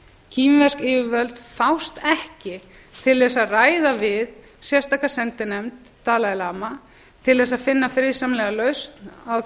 kínversk yfirvöld fást ekki til þess að ræða við sérstaka sendinefnd dalai lama til þess að finna friðsamlega lausn á